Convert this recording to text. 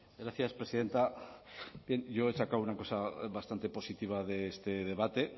gracias presidenta bien yo he sacado una cosa bastante positiva de este debate